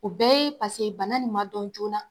O bɛɛ ye paseke bana nin ma dɔn joona.